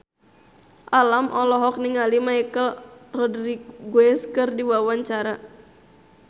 Alam olohok ningali Michelle Rodriguez keur diwawancara